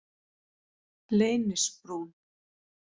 Leynisbrún